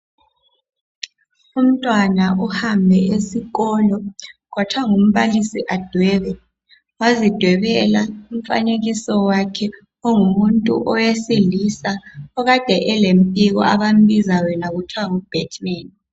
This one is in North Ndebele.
Umntwana uhambe esikolo kwathwa ngumbalisi adwebe wazidwebela umfanekiso wakhe ongumuntu owesilisa okade elempiko abambiza yena kuthiwa ngu batman.